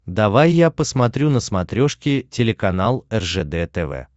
давай я посмотрю на смотрешке телеканал ржд тв